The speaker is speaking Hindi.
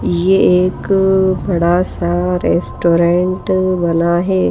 ये एक बड़ा सा रेस्टोरेंट बना है।